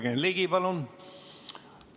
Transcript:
Jürgen Ligi, palun!